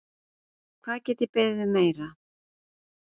Hvað get ég beðið um meira?